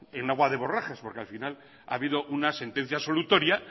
en agua de borrajas porque al final ha habido una sentencia absolutoria